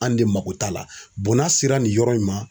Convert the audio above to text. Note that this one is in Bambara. An de mako t'a la n'a sera nin yɔrɔ in ma